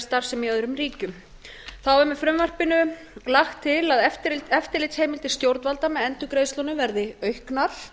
starfsemi í öðrum ríkjum þá er með frumvarpinu lagt til að eftirlitsheimildir stjórnvalda með endurgreiðslunum verði auknar